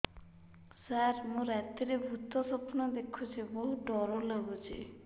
ସାର ମୁ ରାତିରେ ଭୁତ ସ୍ୱପ୍ନ ଦେଖୁଚି ବହୁତ ଡର ଲାଗୁଚି